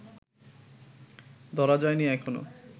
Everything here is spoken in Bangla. ধরা যায় নি এখনও